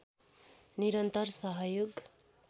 निरन्तर सहयोग